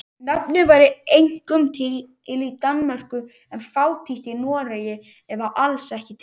Nafnið væri einkum til í Danmörku en fátítt í Noregi eða alls ekki til.